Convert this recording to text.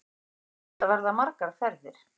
Þetta verða margar ferðir